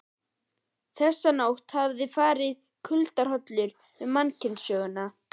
Þessa nótt hafði farið kuldahrollur um mannkynssöguna.